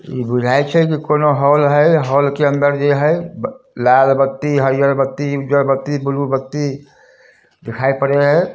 इ बुझाई छै की कौनो हॉल हैय हॉल के अन्दर जे हैय लाल बत्ती हरीहर बत्ती उज्जर बत्ती ब्लू बत्ती दिखाई पड़य हेय।